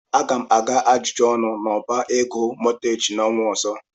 Aga m aga ajụjụ ọnụ n'ọbá ego mọọgeeji n'ọnwa ọzọ.